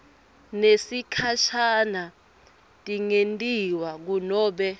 tesikhashane tingentiwa kunobe